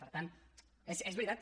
per tant és veritat